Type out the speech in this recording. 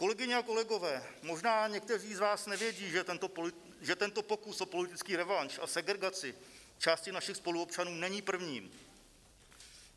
Kolegyně a kolegové, možná někteří z vás nevědí, že tento pokus o politický revanš a segregaci části našich spoluobčanů není prvním.